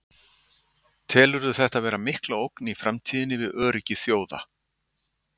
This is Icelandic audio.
Telurðu þetta vera mikla ógn í framtíðinni við öryggi þjóða?